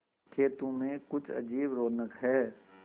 खेतों में कुछ अजीब रौनक है